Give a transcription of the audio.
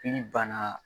Ili banna